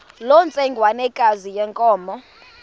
loo ntsengwanekazi yenkomo